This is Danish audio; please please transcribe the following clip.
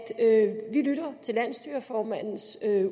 vi lytter til landsstyreformandens